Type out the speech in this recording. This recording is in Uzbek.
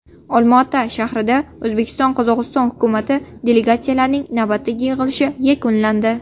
Olmaota shahrida O‘zbekiston–Qozog‘iston hukumat delegatsiyalarining navbatdagi yig‘ilishi yakunlandi.